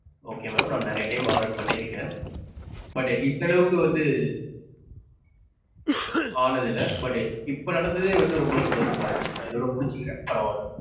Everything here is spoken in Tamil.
okay mam நான் நெறையா time order பண்ணியிருக்கேன். But இந்த அளவுக்கு வந்து ஆனதில்ல. But இப்போ நடந்ததே வந்து ரொம்ப சந்தோஷமா இருக்கு. நான் இதோட முடிச்சிக்கிறேன் பரவாலே.